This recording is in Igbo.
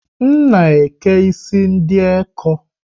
M na eke isi ndị ekọ́